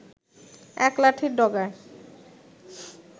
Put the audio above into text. এক লাঠির ডগায়